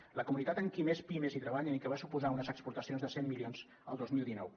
és la comunitat amb qui més pimes treballen i que va suposar unes exportacions de cent milions el dos mil dinou